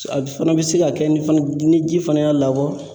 A fana bɛ se ka kɛ ni fana ni ji fana y'a labɔ.